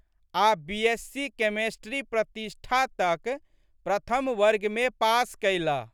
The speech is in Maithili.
आ' बी.एस.सी.केमिस्ट्री प्रतिष्ठा तक प्रथम वर्गमे पास कयलह।